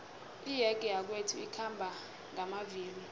iyege yakwethu ikhamba ngamavilo